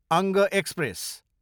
अङ्ग एक्सप्रेस